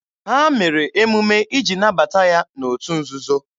Ha mere emume iji nabata ya n'otu nzuzo.